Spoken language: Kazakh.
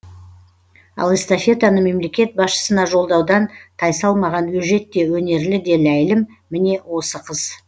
ал эстафетаны мемлекет басшысына жолдаудан тайсалмаған өжет те өнерлі де ләйлім міне осы қыз